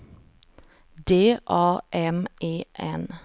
D A M E N